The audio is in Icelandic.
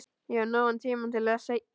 Ég hef nógan tíma til þess seinna